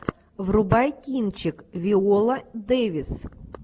врубай кинчик виола дэвис